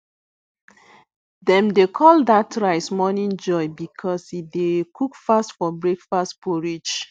dem dey call that rice morning joy because e dey cook fast for breakfast porridge